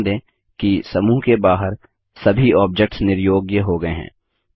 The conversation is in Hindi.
ध्यान दें कि समूह के बाहर सभी ऑब्जेक्ट्स निर्योग्य हो गये हैं